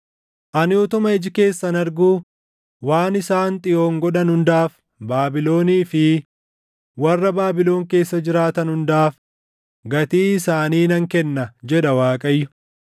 “Ani utuma iji keessan arguu waan isaan Xiyoon godhan hundaaf Baabilonii fi warra Baabilon keessa jiraatan hundaaf gatii isaanii nan kenna” jedha Waaqayyo.